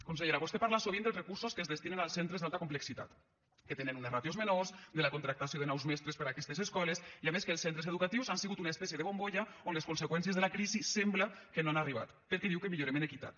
consellera vostè parla sovint dels recursos que es destinen als centres d’alta complexitat que tenen unes ràtios menors de la contractació de nous mestres per a aquestes escoles i a més que els centres educatius han sigut una espècie de bombolla on les conseqüències de la crisi sembla que no han arribat perquè diu que millorem en equitat